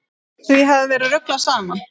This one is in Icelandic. Því hafi verið ruglað saman.